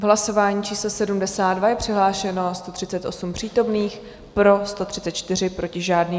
V hlasování číslo 72 je přihlášeno 138 přítomných, pro 134, proti žádný.